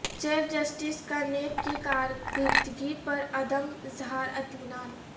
chief justice کا NAB کی کارکردگی پرعدم اظہار اطمینان